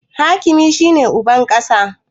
Hakimi shi ne uban ƙasa